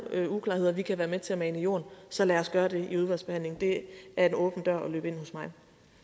uklarheder vi kan være med til at mane i jorden så lad os gøre det i udvalgsbehandlingen det er en åben dør at løbe ind hos mig